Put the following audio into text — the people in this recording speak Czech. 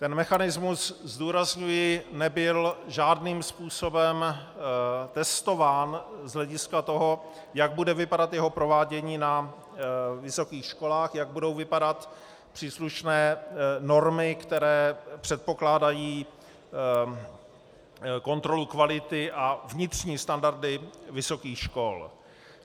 Ten mechanismus, zdůrazňuji, nebyl žádným způsobem testován z hlediska toho, jak bude vypadat jeho provádění na vysokých školách, jak budou vypadat příslušné normy, které předpokládají kontrolu kvality a vnitřní standardy vysokých škol.